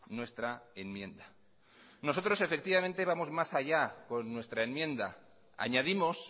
nuestra enmienda nosotros efectivamente vamos más allá con nuestra enmienda añadimos